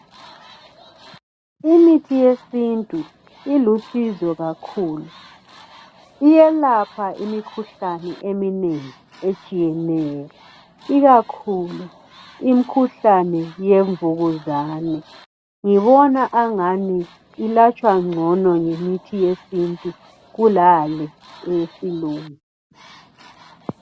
Imithi yesintu ilusizo kakhulu , iyelapha imikhuhlane iminengi etshiyeneyo ikakhulu imkhuhlane yemvukuzane yiwona angani ulatshwa ngcono kulale eyesilungu.